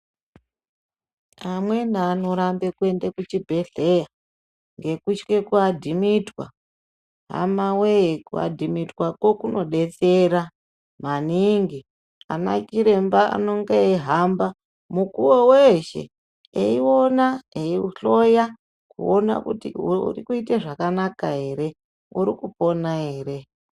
Amweni anorambe kuende kuchibhedhleya ngekutye kuadhimitwa hama wee kuadhimitwako kunodetsera maningi ana Chiremba anenge eihamba mukuwo weshe eiona eihloya kuona kuti uri kuite zvakanaka ere uri kupona ere.